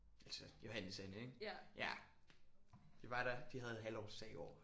Altså Johannes' Anne ik ja. Det var der de havde halvårsdag i går